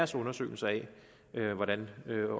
sin undersøgelse af hvordan